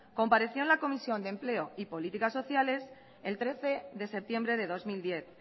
compareció en la comisión de empleo y políticas sociales el trece de septiembre de dos mil diez